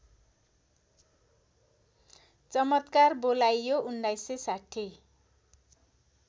चमत्कार बोलाइयो १९६०